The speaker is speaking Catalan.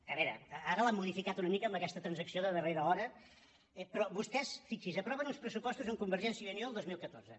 a veure ara l’han modificat una mica amb aquesta transacció de darrera hora però vostès fixin se aproven uns pressupostos amb convergència i unió el dos mil catorze